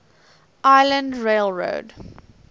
island rail road